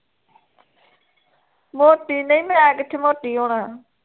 ਮੋਟੀ ਨਹੀਂ ਮੈਂ ਕਿੱਥੇ ਮੋਟੀ ਹੋਣਾ ਐ